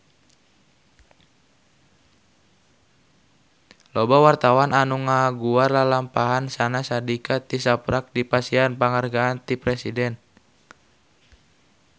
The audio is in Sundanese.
Loba wartawan anu ngaguar lalampahan Syahnaz Sadiqah tisaprak dipasihan panghargaan ti Presiden